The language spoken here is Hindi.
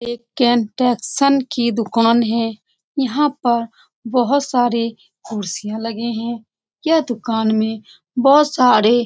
एक कन्फेक्शन की दूकान है यहाँ पर बहुत सारे कुर्सियाँ लगे हैं यह दूकान में बहुत सारे --